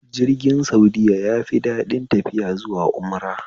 Jirgin saudiya yafi daɗin tafiya zuwa umra